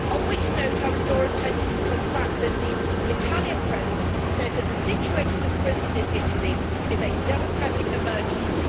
On which note I would draw attention to the fact that the Italian President has said that the situation of prisons in Italy is a democratic emergency.